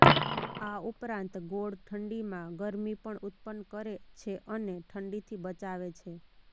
આ ઉપરાંત ગોળ ઠંડીમાં ગરમી પણ ઉત્પન્ન કરે છે અને ઠંડીથી બચાવે છે